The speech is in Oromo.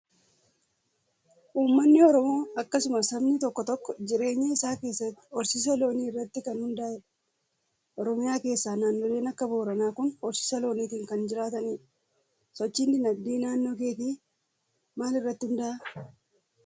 Uummanni oromoo akkasumas sabni tokko tokko jireenya isaa keessatti horsiisa loonii irratti kan hundaa'edha. Oromiyaa keessaa naannoleen akka booranaa kun horsiisa looniitiin kan jiraatanidha. Sochiin dinadgee naannoo keetii maal irratti hundaa'aa?